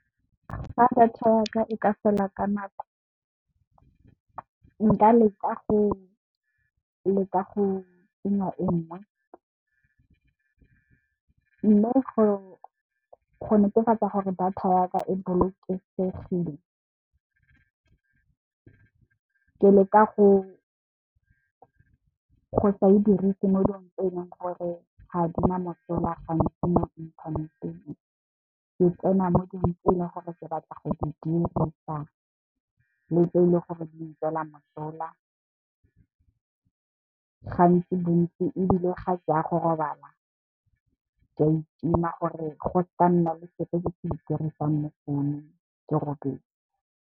Fa data yaka e ka fela ka nako nka leka go tsenya e nngwe. Mme, go netefatsa gore data ya ka e bolokegile ke leka go sa e dirise mo dilong tse leng gore ga di na mosola gantsi mo inthaneteng, ke tsena mo dilong tse leng gore ke batla go di dirisa, le tse leng gore di ntswela mosola. Gantsi ebile, ga ke ya go robala ke ya itima gore go se ka nna le sepe se e dirisang mo founung ke robetse.